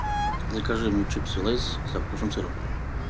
закажи мне чипсы лейс со вкусом сыра